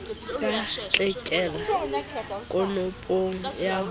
ka tlelika konopong ya ho